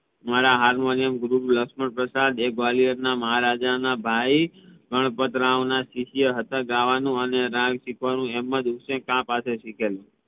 મારા હાર્મોનિયમ ગુરુ લક્ષમ્ણ પ્રસાદ એ ગ્વાલિયર ના મહારાજા ના ભાઈ ગણપત રાવ ના શિષ્ય હતા ગાવાનું અને રાગ શીખવાનું એમજ ઉસને ખા પાસે થી સીખેલું